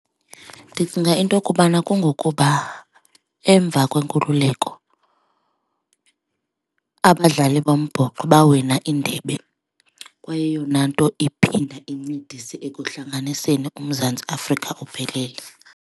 Ndicinga into yokubana kungokuba emva kwenkululeko abadlali bombhoxo bawina indebe, kwayeyona nto iphinda incedise ekuhlanganiseni uMzantsi Afrika uphelele.